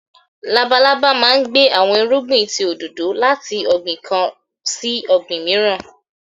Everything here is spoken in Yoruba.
Lábàlábà máà ń gbé awọn irúgbìn tí òdòdò lati ọgbin kán sí ọgbin miiran.